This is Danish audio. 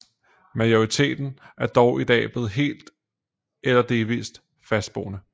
Majoriteten er dog i dag blevet helt eller delvist fastboende